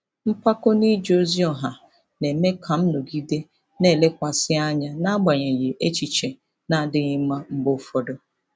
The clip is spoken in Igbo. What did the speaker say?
Mpako n'ije ozi ọha na-eme ka m nọgide na-elekwasị anya n'agbanyeghị echiche na-adịghị mma mgbe ụfọdụ.